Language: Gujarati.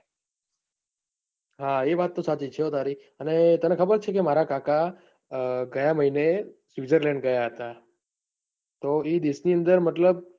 હા એ વાત તો સાચી છે હો તારી તને ખબર છે કે મારા કાકા ગયા મહિને સ્વિટ્ઝર્લૅન્ડ ગયા હતા. તો તે દેશની અંદર મતલબ